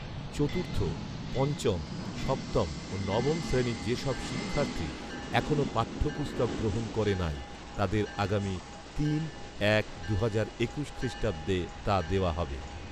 চতুর্থ, পঞ্চম, সপ্তম ও নবম শ্রেণির যেসব শিক্ষার্থী এখনো পাঠ্যপুস্তক গ্রহণ করে নাই, তাদের আগামী তিন এক দুহাজার একুশ খ্রিস্টাব্দে তা দেওয়া হবে